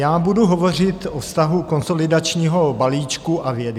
Já budu hovořit o vztahu konsolidačního balíčku a vědy.